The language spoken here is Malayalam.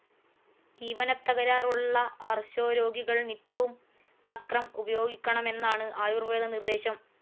ദീപനത്തകരാറുള്ള അർശോരോഗികൾ നിത്യവും തക്രം ഉപയോഗിക്കണമെന്നാണ് ആയുർവേദ നിർദ്ദേശം.